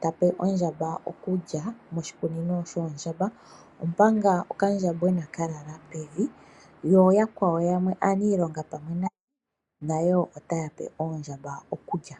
ta pe oondjamba okulya moshikunino shoondjamba, omanga okandjambwena ka lala pevi yo yakwawo yamwe aaniilonga pamwe naye ota ya pe oondjamba okulya.